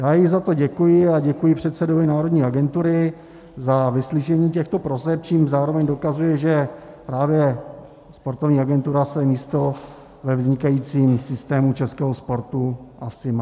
Já jí za to děkuji a děkuji předsedovi Národní agentury za vyslyšení těchto proseb, čímž zároveň dokazuje, že právě sportovní agentura své místo ve vznikajícím systému českého sportu asi má.